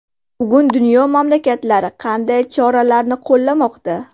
Bugun dunyo mamlakatlari qanday choralarni qo‘llamoqda?